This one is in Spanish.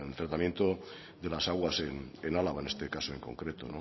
tratamiento de las aguas en álava en este caso en concreto